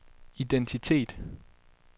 identitet